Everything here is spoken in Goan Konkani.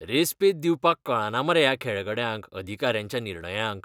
रेस्पेद दिवपाक कळना मरे ह्या खेळगड्यांक अधिकाऱ्यांच्या निर्णयांक.